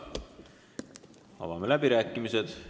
Avan läbirääkimised.